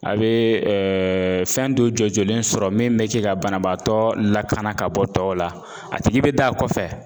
A bɛ fɛn dɔ jɔ jɔlen sɔrɔ min bɛ kɛ ka banabaatɔ lakana ka bɔ tɔw la , a tigi bɛ da kɔfɛ.